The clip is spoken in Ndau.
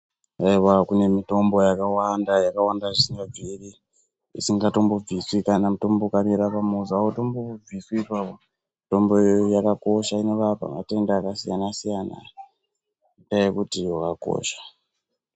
Aiwa kune mitombo yakawanda yakawanda zvisingabviri isingatombo bviswi kana ukamera pamuzi hautombobviswi ipapo. Mitombo iyoyoyo yakakosha inorapa matenda akasiyana-siyana ngendaa yekuti wakakosha.